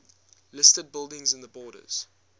listed buildings in the borders